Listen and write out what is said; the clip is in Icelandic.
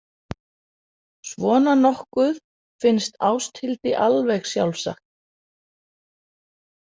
Svona nokkuð finnst Ásthildi alveg sjálfsagt.